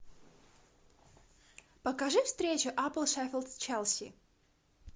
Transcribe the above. покажи встречу апл шеффилд с челси